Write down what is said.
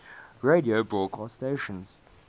radio broadcast stations